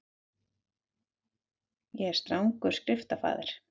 Ég er strangur skriftafaðir.